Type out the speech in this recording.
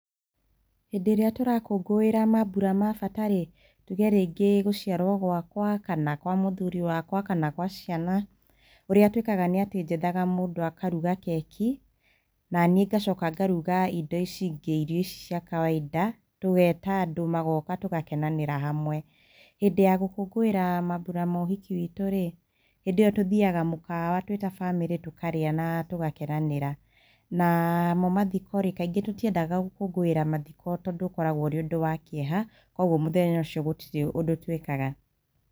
Hĩndĩ ĩrĩa tũrakũngũĩra maambura ma bata rĩ, tuge rĩngĩ gũciarwo gwakwa, kana kwa mũthuri wakwa, kana gwa ciana, ũrĩa twĩkaga nĩ atĩ njethaga mũndũ akaruga keki, naniĩ ngacoka ngaruga indo ici ingĩ, irio ici cia kawaida, tũgeta andũ magoka tũgakenanĩra hamwe, hĩndĩ ya gũkũngũĩra maambura ma ũhiki witũrĩ, hĩndĩ ĩyo tũthiyaga mũkawa twĩ ta bamĩrĩ tũkaria na tũgakenanĩra, namo mathikorĩ kaingĩ tũtiendaga gũkũngũĩra mathiko tondũ ũkoragwo ũri ũndũ wa kĩeha, kogwo mũthenya ũcio gũtirĩ ũndũ twĩkaga.